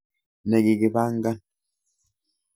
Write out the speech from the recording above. Nekikibangan